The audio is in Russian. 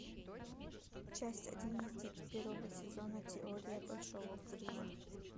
часть одиннадцать первого сезона теория большого взрыва